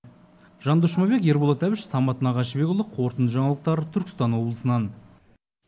жандос жұмабек ерболат әбіш самат нағашыбекұлы қорытынды жаңалықтар түркістан облысынан